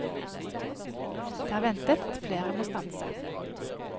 Det er ventet at flere må stanse.